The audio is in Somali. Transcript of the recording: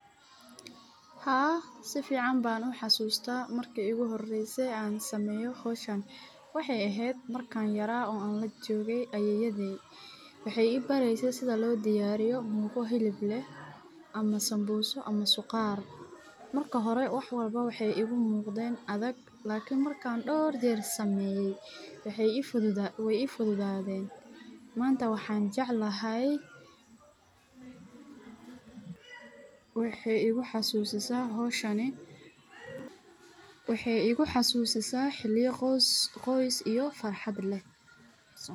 Haa sifican baan u xasuusta marki iigu horeyso aan sameeye howshan waxeey ibareyse sida loo sameeyo asaga oo hilib leh waan jeclahay waxaay igu xasusiaa xiliya qoys iyo farxad leh.